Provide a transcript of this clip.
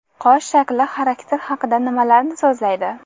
Qosh shakli xarakter haqida nimalarni so‘zlaydi?